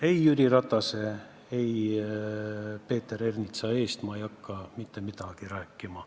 Ei Jüri Ratase ega Peeter Ernitsa eest ma ei hakka mitte midagi rääkima.